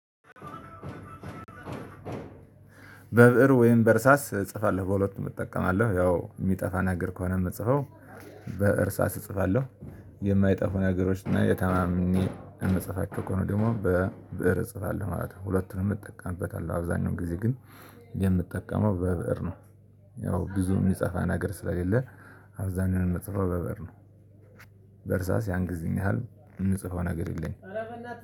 በብእር ወይም በርሳስ እጽፋለሁ በሁለቱም እጠቀማለሁ ያው የሚጠፋ ነገር ከሆነ ምጽፈው በእርሳስ እጽፋለሁ የማይጠፉ ነገሮች እና ተማምኜ እምጽፋቸው ከሆነ ደግሞ በብእር እጽፋለሁ ማለት ነው። ሁለቱንም እጠቀምበታለሁ አብዛኛው ጊዜ ግን የምጠቀመው በብእር ነው። ያው ብዙ የሚጻፋ አናገር ስለሌለ አብዛኛውን የምጽፈው በብእር ነው። በርሳስ ያን ጊዜን ያህል ምጽፈው ነገር የለኝም።